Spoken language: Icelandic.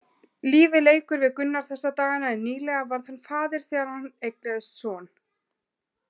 Lífið leikur við Gunnar þessa dagana en nýlega varð hann faðir þegar hann eignaðist son.